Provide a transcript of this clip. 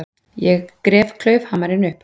Ég gref klaufhamarinn upp.